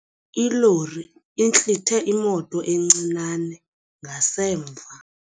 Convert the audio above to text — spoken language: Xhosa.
Ilori intlithe imoto encinane ngasemva.